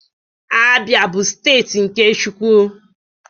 Abia, bu steeti nke Chukwu.